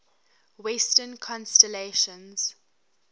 western constellations